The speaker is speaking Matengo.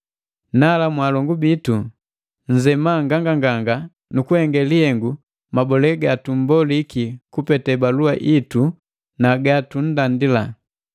Nala mwaalongu bitu nzema nganganganga nu kuhenge lihengu mabole ga tummboliki kupete balua itu na ga tunndandila.